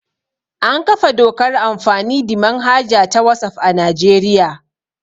An kafa dokar amfani the manhaja ta wasaf a Najeriya